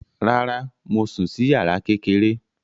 Rárá, mo sùn sí yàrá kékeré